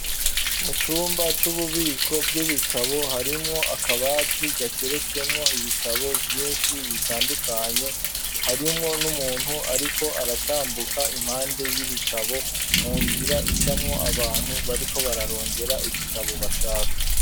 Mu cumba c'ububiko bw'ibitabo harimwo akabati gateretsemwo ibitabo vyishi bitandukanye harimwo n'umuntu ariko aratambuka impande y'ibitabo mu nzira icamwo abantu bariko bararondera ibitabo bashaka.